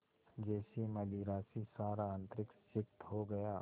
जैसे मदिरा से सारा अंतरिक्ष सिक्त हो गया